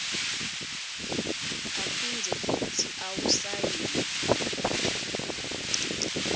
aphindze futsi awusayine